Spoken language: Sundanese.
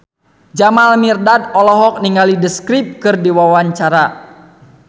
Jamal Mirdad olohok ningali The Script keur diwawancara